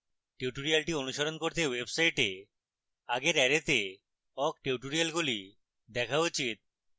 tutorial অনুশীলন করতে website আগের array to awk টিউটোরিয়ালগুলি দেখা উচিত